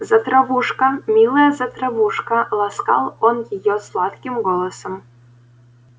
затравушка милая затравушка ласкал он её сладким голосом